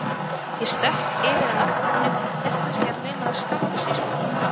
Ég stökk yfir að náttborðinu, hélt kannski að hann lumaði á skammbyssu í skúffunni.